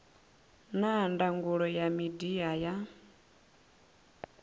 na ndangulo ya midia ya